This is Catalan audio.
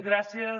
gràcies